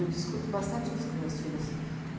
Eu discuto bastante isso com meus filhos.